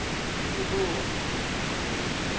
leboa